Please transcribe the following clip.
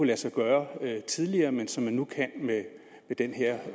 lade sig gøre tidligere men som nu kan med den her